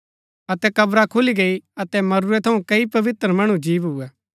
अतै कब्रा खुली गई अतै मरूरै थऊँ कई पवित्र मणु जी भुऐ